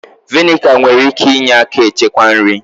Vị́nịga nwere ike ịnye aka echekwa nri